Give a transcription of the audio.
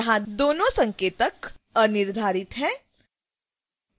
यहां दोनों संकेतक अनिर्धारित हैं